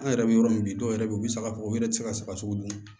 An yɛrɛ bɛ yɔrɔ min dɔw yɛrɛ bɛ yen u bɛ saga bɔ u yɛrɛ tɛ se ka saga sogo dun